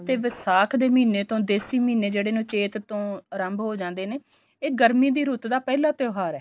ਤੇ ਵਿਸਾਖ ਦੇ ਮਹੀਨੇ ਤੋਂ ਦੇਸੀ ਮਹੀਨੇ ਜਿਹੜੇ ਨੇ ਚੇਤ ਤੋਂ ਆਰੰਭ ਹੋ ਜਾਂਦੇ ਨੇ ਇਹ ਗਰਮੀ ਦੀ ਰੁੱਤ ਦਾ ਪਹਿਲਾਂ ਤਿਉਹਾਰ ਹੈ